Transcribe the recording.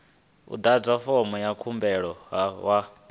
ḓadze fomo ya khumbelo vha